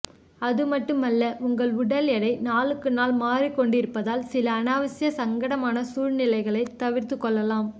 அதும்மட்டுமல்ல உங்கள் உடல் எடை நாளுக்கு நாள் மாறிக்கொண்டிருப்பதால் சில அநாவசிய சங்கடமான சூழ்நிலைகளை தவிர்த்து கொள்ளலாம்